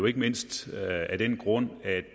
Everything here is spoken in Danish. ikke mindst af den grund at